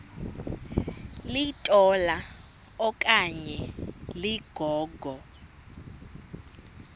litola okanye ligogo